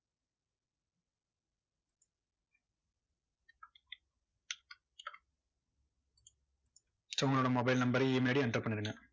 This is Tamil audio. சும்மா mobile number email ID enter பண்ணிருங்க.